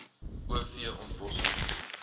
o v ontbossing